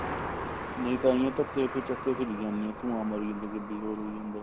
ਨਹੀਂ ਤਾਂਹੀ ਓ ਤਾਂ ਤੇ ਫਿਰ ਚੱਕ ਕੇ ਫਿਰੀ ਜਾਂਦੇ ਹਾਂ ਧੁਆਂ ਮਾਰੀ ਜਾਂਦੀ ਹੈ ਗੱਡੀ ਹੋਰ ਹੋਈ ਜਾਂਦਾ